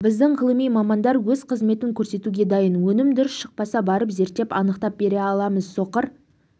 біздің ғылыми мамандар өз қызметін көрсетуге дайын өнім дұрыс шықпаса барып зерттеп анықтап бере аламыз соқыр